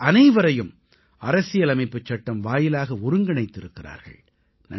அவர்கள் அனைவரையும் அரசியலமைப்புச் சட்டம் வாயிலாக ஒருங்கிணைத்திருக்கிறார்கள்